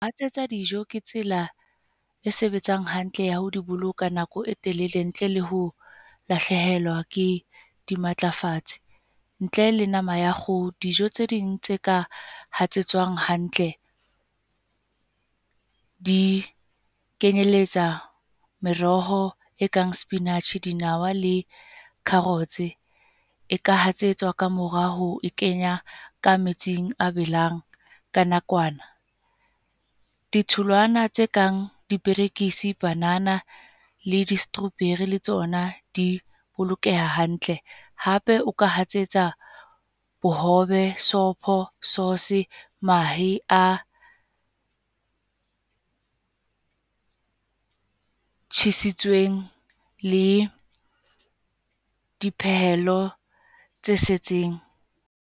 Ho hatsetsa dijo, ke tsela e sebetsang hantle ya ho di boloka nako e telele ntle le ho lahlehelwa ke di matlafatsi. Ntle le nama ya kgoho. Dijo tse ding tse ka hatsetswang hantle, di kenyelletsa meroho e kang spinach, dinawa le carrots. E ka hatsetswa ka morao ho kenya ka metsing a belang, ka nakwana. Ditholwana tse kang diperekisi, banana le di-strawberry le tsona di bolokeha hantle. Hape o ka hatsetsa bohobe, sopho, source, mahe a tjhisitsweng le dipehelo tse setseng.